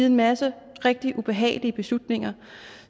en masse rigtig ubehagelige beslutninger